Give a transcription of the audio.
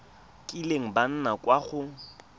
kileng ba nna kwa go